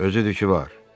Özü də ki var.